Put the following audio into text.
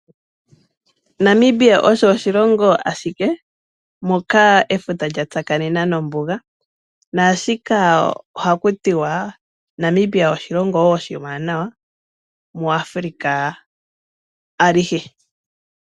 Namibia osho oshilongo ashike moka efuta lya tsakanena nombuga, sho osho hakutiwa Namibia oshilongo oshiwanawa muAfrica alihe.